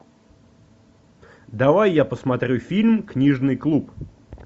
давай я посмотрю фильм книжный клуб